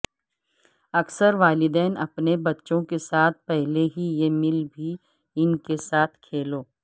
اکثر والدین اپنے بچوں کے ساتھ پہلے ہی یہ مل بھی ان کے ساتھ کھیلوں